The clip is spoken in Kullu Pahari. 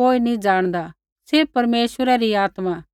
कोई नैंई जाणदा सिर्फ़ परमेश्वरै री आत्मा